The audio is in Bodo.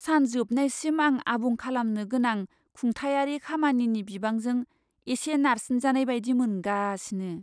सान जोबनायसिम आं आबुं खालामनो गोनां खुंथायारि खामानिनि बिबांजों एसे नारसिनजानाय बायदि मोनगासिनो।